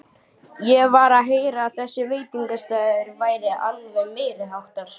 Ég var að heyra að þessi veitingastaður væri alveg meiriháttar!